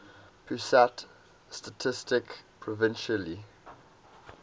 pusat statistik provisionally